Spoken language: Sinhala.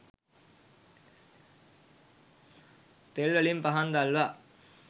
තෙල් වලින් පහන් දල්වා